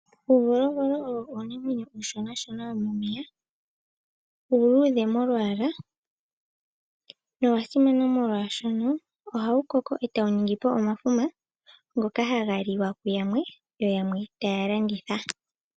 Uuvolovolo owo uunamwenyo uushona womomeya. Uuluudhe molwaala nowa simana, oshka ohawu koko e tawu ningi po omafuma ngoka haga liwa kuyamwe, yo yamwe taya landitha.